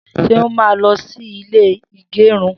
Seun má lọ sí ilé ìgérun